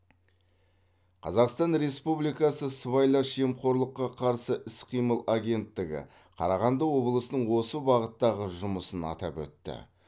қазақстан республикасы сыбайлас жемқорлыққа қарсы іс қимыл агенттігі қарағанды облысының осы бағыттағы жұмысын атап өтті